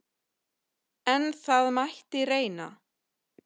En það mætti reyna!